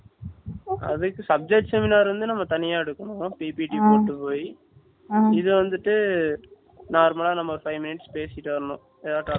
அது subjection ல இருந்து நம்ம தனியா எடுக்கனும் ppt போட்டு போய் இது வந்துட்டு நம்ம normal ல five minutes பேசிட்டு வரணும் எதாவது topic